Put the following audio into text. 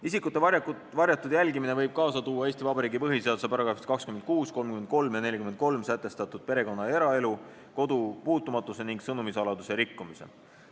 Isikute varjatud jälgimine võib kaasa tuua Eesti Vabariigi põhiseaduse §-des 26, 33 ja 43 sätestatud perekonna ja eraelu, kodu puutumatuse ning sõnumi saladuse rikkumise.